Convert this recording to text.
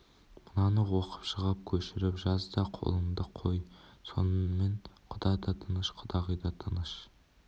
мынаны оқып шығып көшіріп жаз да қолыңды қой сонымен құда да тыныш құдағи да тыныш